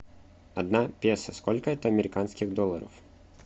одна песо сколько это американских долларов